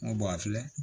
N ko a filɛ